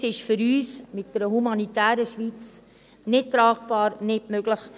Das ist für uns mit einer humanitären Schweiz nicht tragbar, nicht möglich.